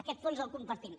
aquest fons el compartim